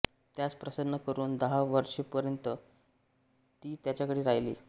त्यास प्रसन्न करून दहा वर्षेवृपर्यंत ती त्याच्याकडे राहिली